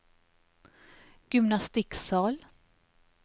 gymnastikksal